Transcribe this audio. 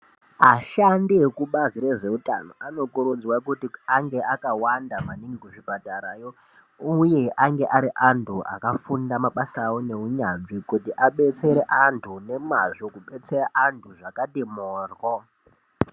Ashandi ekubazi rezveutano anokurudzwa kuti ange akawanda maningi kuzvipatarayo uye ange ari antu akafunda mabasa awo neunyanzvi kuti adetsere antu nemazvo kubetseya antu zvakati morwo.